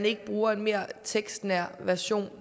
ikke bruger en mere tekstnær version